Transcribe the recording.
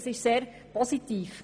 Das ist sehr positiv.